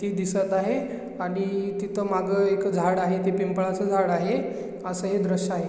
ती दिसत आहे आणि तिथ माग एक झाड आहे ते पिंपळाच झाड आहे अस हे दृश आहे.